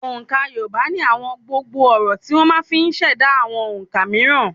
Òǹkà Yorùbá ní àwọn gbòǹgbò ọ̀rọ̀ tí wọ́n máa fi ùn ṣẹ̀dá àwọn òǹkà mííràn.